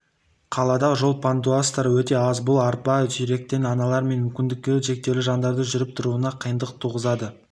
қалада жол пандустары өте аз бұл арба сүйреткен аналар мен мүмкіндігі шектеулі жандардың жүріп-тұруына қиындық туғызады